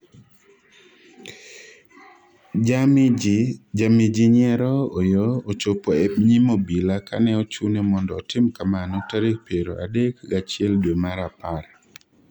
Jami jii nyiero Oyoo ochopo e nyim obila kane ochune mondo otim kamano tarik piero adek gachiel dwe mar apar